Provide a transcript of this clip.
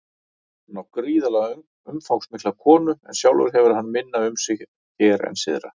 Hann á gríðarlega umfangsmikla konu en sjálfur hefur hann minna um sig hér en syðra.